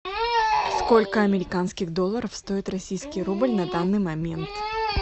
сколько американских долларов стоит российский рубль на данный момент